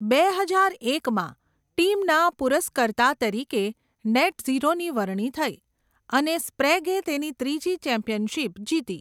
બે હજાર એકમાં, ટીમના પુરસ્કર્તા તરીકે નેટઝીરોની વરણી થઈ, અને સ્પ્રેગે તેની ત્રીજી ચેમ્પિયનશિપ જીતી.